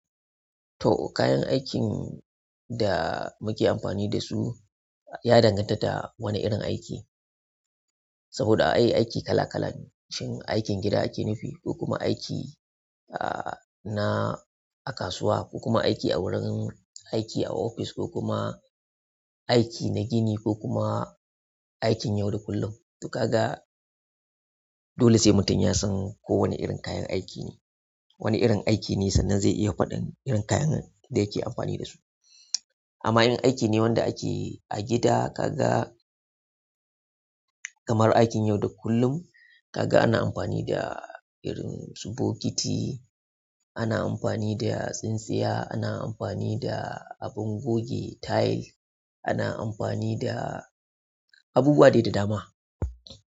To kayan aikin da muke amfani da su ya danganta da wane irin aiki. Saboda ai aiki kala-kala ne shin aikin gida ake nufi ko kuma aiki, ah, na a kasuwa ko kuma aiki a wurin aiki a ofis ko kuma aiki na gini ko kuma aikin yauda kullum. To kaga dole sai mutum ya san ko wane irin kayan aiki ne, wane irin aiki ne sannan zai iya faɗin irin kayan da yake amfani da su. Amma irin aiki ne wanda ake yi a gida kaga kamar aikin yau da kullum, kaga ana amfani da irin su bokiti, ana amfani da tsintsiya, ana amfani da abin goge tiles, ana amfani da abubuwa dai dama.